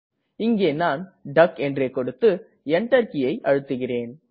இங்கே நான் டக் என்றே கொடுத்து Enter கீயை அழுத்துகிறேன்